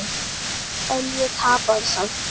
En ég tapaði samt.